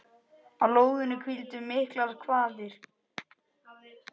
Á lóðinni hvíldu miklar kvaðir.